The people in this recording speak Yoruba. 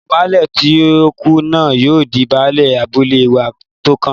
Ọmọ Baálẹ̀ tó tí kú náà yóò di Baálẹ̀ abúlé wa tó kàn